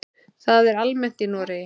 Það er almennt í Noregi.